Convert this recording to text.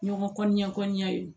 Ɲɔgɔn kɔɲɔn kɔnɔna ye